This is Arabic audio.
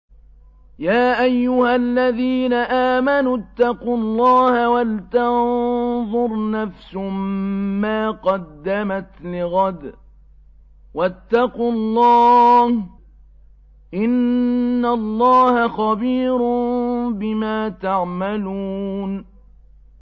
يَا أَيُّهَا الَّذِينَ آمَنُوا اتَّقُوا اللَّهَ وَلْتَنظُرْ نَفْسٌ مَّا قَدَّمَتْ لِغَدٍ ۖ وَاتَّقُوا اللَّهَ ۚ إِنَّ اللَّهَ خَبِيرٌ بِمَا تَعْمَلُونَ